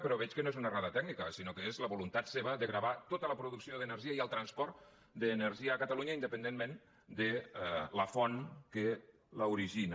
però veig que no és una errada tècnica sinó que és la voluntat seva de gravar tota la producció d’energia i el transport d’energia a catalunya independentment de la font que l’origina